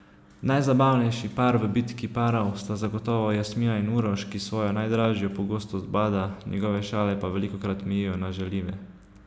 Najzabavnejši par v Bitki parov sta zagotovo Jasmina in Uroš, ki svojo najdražjo pogosto zbada, njegove šale pa velikokrat mejijo na žaljive.